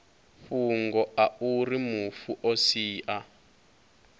fhungo auri mufu o sia